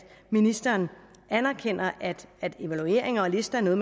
ministeren anerkender at at evalueringer og lister er noget